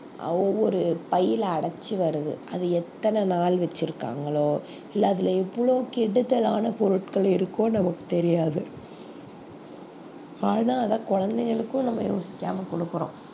ஆஹ் ஒவ்வொரு பையில அடைச்சு வருது அது எத்தனை நாள் வச்சிருக்காங்களோ இல்ல அதுல எவ்வளவு கெடுதலான பொருட்கள் இருக்கோ நமக்கு தெரியாது ஆனா அதை குழந்தைகளுக்கு நம்ம யோசிக்காம கொடுக்கிறோம்